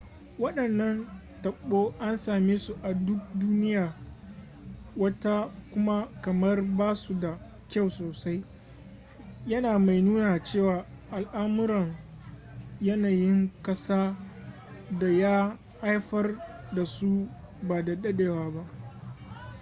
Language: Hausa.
wadannan tabo an same su a duk duniyar wata kuma kamar ba su da kyau sosai yana mai nuna cewa al'amuran yanayin kasa da ya haifar da su ba da dadewa ba